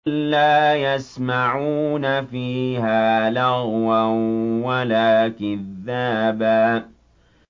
لَّا يَسْمَعُونَ فِيهَا لَغْوًا وَلَا كِذَّابًا